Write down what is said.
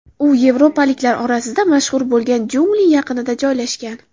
U yevropaliklar orasida mashhur bo‘lgan jungli yaqinida joylashgan.